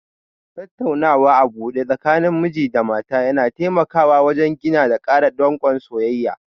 Tattaunawa a buɗe tsakanin miji da mata yana taimawa wajen gina da ƙara danƙon soyayya.